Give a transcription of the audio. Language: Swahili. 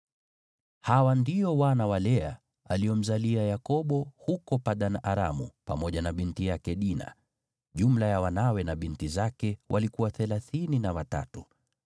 Hawa ndio wana wa Lea aliomzalia Yakobo huko Padan-Aramu pamoja na binti yake Dina. Jumla ya wanawe na binti zake walikuwa thelathini na watatu.